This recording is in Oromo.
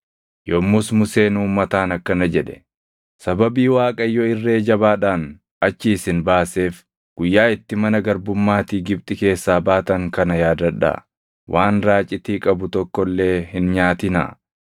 Yommus Museen uummataan akkana jedhe; “Sababii Waaqayyo irree jabaadhaan achii isin baaseef guyyaa itti mana garbummaatii Gibxi keessaa baatan kana yaadadhaa. Waan raacitii qabu tokko illee hin nyaatinaa.